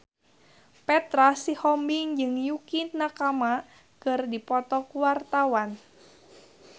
Petra Sihombing jeung Yukie Nakama keur dipoto ku wartawan